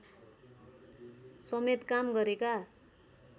समेत काम गरेका